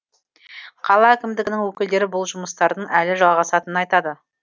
қала әкімдігінің өкілдері бұл жұмыстардың әлі жалғасатынын айтады